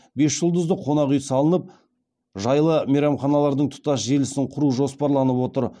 бес жұлдызды қонақ үй салынып жайлы мейманханалардың тұтас желісін құру жоспарланып отыр